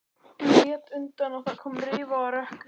Hún lét undan og það kom rifa á rökkrið.